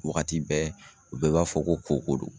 Wagati bɛɛ u bɛɛ b'a fɔ ko koko don.